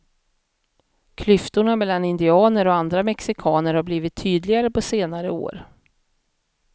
Klyftorna mellan indianer och andra mexikaner har blivit tydligare på senare år.